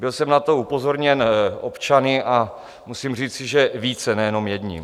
Byl jsem na to upozorněn občany a musím říci, že více, nejenom jedním.